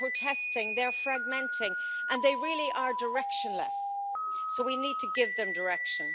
They're protesting, they're fragmenting and they really are directionless, so we need to give them direction.